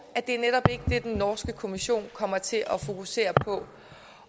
er netop ikke det den norske kommission kommer til at fokusere på